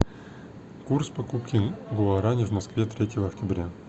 курс покупки гуарани в москве третьего октября